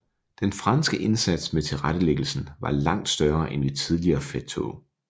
Den franske indsats med tilretettelæggelsen var langt større end ved tidligere felttog